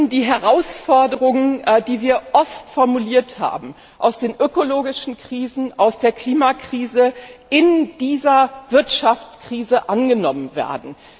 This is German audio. Die Herausforderungen, die wir oft formuliert haben, aus den ökologischen Krisen, aus der Klimakrise, müssen in dieser Wirtschaftskrise angenommen werden.